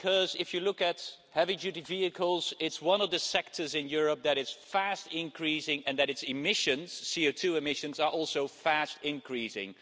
Because, if you look at heavy-duty vehicles, this is one of the sectors in Europe that is fast increasing and where CO2 emissions are also fast increasing.